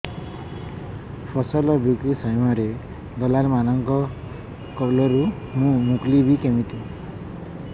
ଫସଲ ବିକ୍ରୀ ସମୟରେ ଦଲାଲ୍ ମାନଙ୍କ କବଳରୁ ମୁଁ ମୁକୁଳିଵି କେମିତି